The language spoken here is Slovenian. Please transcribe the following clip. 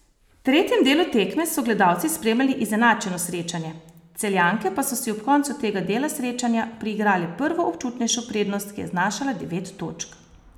V tretjem delu tekme so gledalci spremljali izenačeno srečanje, Celjanke pa so si ob koncu tega dela srečanja priigrale prvo občutnejšo prednost, ki je znašala devet točk.